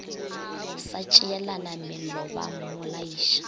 sa tšeelana mello ba mmolaiša